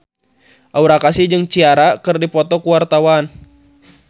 Aura Kasih jeung Ciara keur dipoto ku wartawan